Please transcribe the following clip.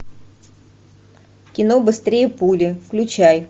кино быстрее пули включай